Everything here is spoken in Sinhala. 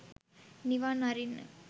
නිවන් අරින්න.